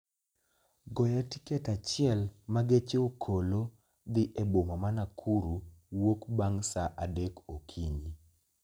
goya tiket achiel ma geche okolo dhi e boma ma Nakuru wuok bang' saa adek okinyi